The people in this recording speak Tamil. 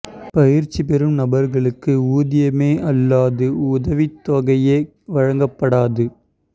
பயிற்சி பெறும் நபா்களுக்கு ஊதியமோ அல்லது உதவித் தொகையோ வழங்கப்படாது